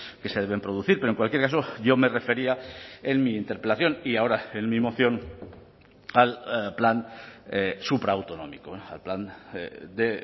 que se deben producir pero en cualquier caso yo me refería en mi interpelación y ahora en mi moción al plan supraautonómico al plan de